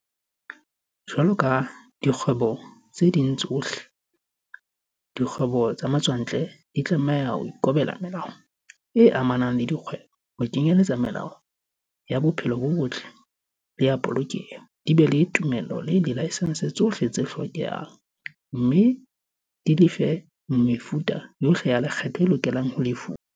Jwalo ka dikgwebo tse ding tsohle, dikgwebo tsa matswantle di tlameha ho ikobela melao e amanang le dikgwebo, ho kenyeletsa melawana ya bophelo bo botle le ya polokeho, di be le ditumello le dilaesense tsohle tse hlokehang, mme di lefe mefuta yohle ya lekgetho e lokelang ho lefuwa.